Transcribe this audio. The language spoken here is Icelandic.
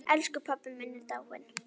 Elsku pabbi minn er dáinn.